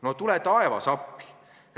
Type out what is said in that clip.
No tule taevas appi!